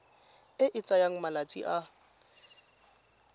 e e tsayang malatsi a